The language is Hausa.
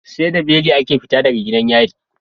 Seda beli ake fita daga gidan yari